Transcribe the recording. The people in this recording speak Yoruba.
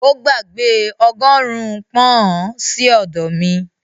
Ó gbàgbé ọgọ́rùn-ún pọ́n-ọ̀n sí ọ̀dọ̀ mi